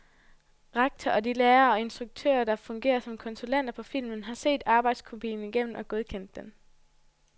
Rektor og de lærere og instruktører, der fungerer som konsulenter på filmen, har set arbejdskopien igennem og godkendt den.